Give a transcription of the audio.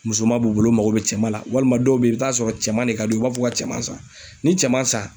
Musoman b'u bolo u mago bi cɛman na walima dɔw be yen, i bi taa sɔrɔ cɛman de ka di u ye u b'a fɔ ko ka cɛman san ni cɛman san